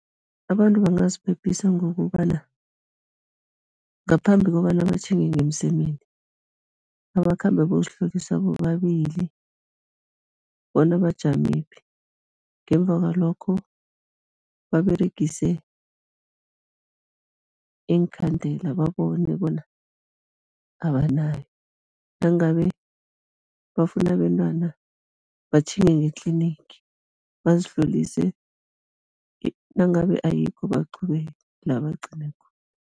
Abantu bangaziphephisa ngokobana, ngaphambi kobana batjhinge ngemsemeni, abakhambe bozihlolisa bobabili bona bajamephi, ngemva kwalokho, baberegise iinkhandela babone bona abanayo, nangabe bafuna abentwana batjhinge nge-clinic bazihlolise, nangabe ayikho baqhubeke la bagcine khona.